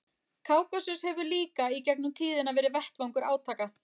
Kákasus hefur líka í gegnum tíðina verið vettvangur átaka.